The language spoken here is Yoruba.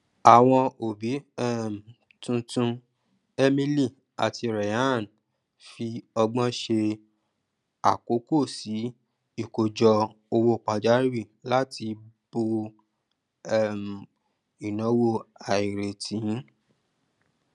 àwọn òbí um tuntun emily àti ryan ń fi ọgbọn ṣe àkókò sí ìkójọ owó pajawìrì láti bo um ináwó àìrètí